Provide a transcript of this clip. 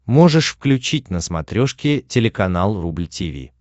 можешь включить на смотрешке телеканал рубль ти ви